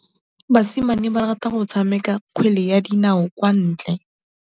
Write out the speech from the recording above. Basimane ba rata go tshameka kgwele ya dinaô kwa ntle.